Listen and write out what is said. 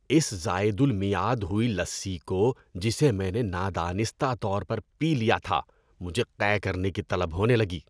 اس زائد المیعاد ہوئی لسی کو جسے میں نے نادانستہ طور پر پی لیا تھا، مجھے قے کرنے کی طلب ہونے لگی۔